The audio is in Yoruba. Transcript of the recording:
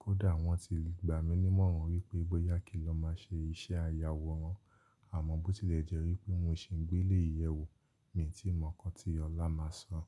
Kódà wọ́n ti gbà mí nímọ̀ràn wípé bóyá kí n lọ máa ṣe iṣẹ́ ayàwòrán, àmọ́ bó tilẹ̀ jẹ́ wípé mo sì ń gbé léyìí yẹ̀wò mi ò tíì mọ nǹkan tí ọlá máa san.